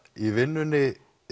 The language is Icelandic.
í vinnunni